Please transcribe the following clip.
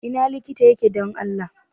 Ina likita yake don Allah?